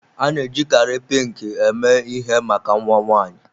A na-ejikarị Pinki eme ihe maka nnwa nwaanyi.